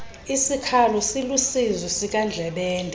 sikhalo siluusizi sikandlebende